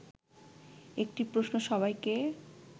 একটি প্রশ্ন সবাইকে